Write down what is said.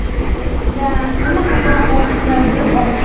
sizga nima ko‘proq yoqishini bilib oling.